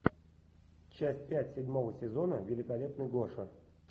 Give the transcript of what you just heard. часть пять седьмого сезона великолепный гоша